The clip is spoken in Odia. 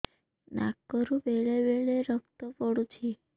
ନାକରୁ ବେଳେ ବେଳେ ରକ୍ତ ପଡୁଛି